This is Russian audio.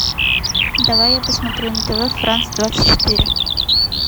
давай я посмотрю на тв франс двадцать четыре